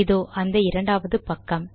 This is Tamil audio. இதோ அந்த இரண்டாவது பக்கம்